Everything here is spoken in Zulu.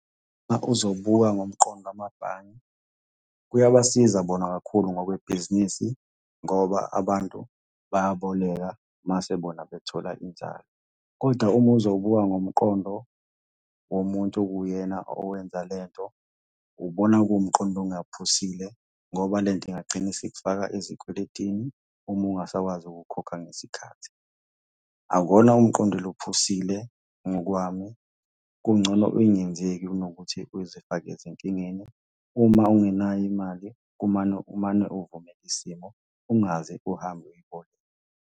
Uma uzobuka ngomqondo wamabhange kuyabasiza bona kakhulu ngokwebhizinisi ngoba abantu bayaboleka mase bona bethola inzalo, koda uma uzobuka ngomqondo womuntu okuwuyena owenza le nto, ubona kuwumqondo ongaphusile ngoba le nto ingagcina isikufaka ezikweletini uma ungasakwazi ukukhokha ngesikhathi. Akuwona umqondo lo ophusile ngokwami, kungcono ingenzeki kunokuthi uzifake ezinkingeni. Uma ungenayo imali kumane, umane uvumele isimo, ungaze uhambe .